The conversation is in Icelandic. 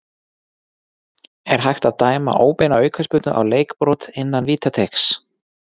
Er hægt að dæma óbeina aukaspyrnu á leikbrot innan vítateigs?